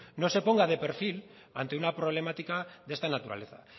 no se ponga de perfil ante una problemática de esta naturaleza